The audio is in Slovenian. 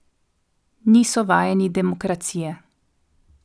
Niso vajeni demokracije.